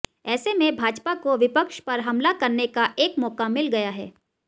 ऐसे में भाजपा को विपक्ष पर हमला करने का एक मौका मिल गया है